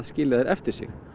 skilja eftir sig